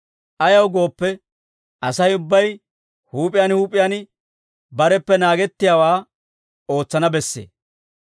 Ayaw gooppe, Asay ubbay huup'iyaan huup'iyaan bareppe naagettiyaawaa ootsana bessee.